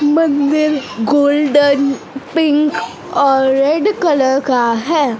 मंदिर golden pink और red colour का है।